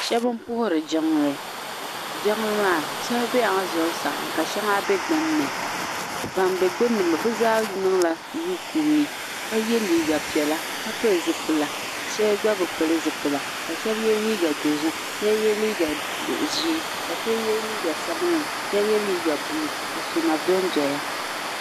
Shɛba n puhiri jiŋli jiŋli maa shɛŋa bela zuɣusaa ka shɛŋa bɛ gbunni bi zaa niŋ la rukuuyi ka yɛ liiga piɛla ka pili zipila shɛba gba bi pili zipila ka shɛba yɛ liiga dozim shɛba yɛ liiga ʒee ka shɛba yɛ liiga sabinli shɛba yɛ liiga buluu ka sɔna don doya.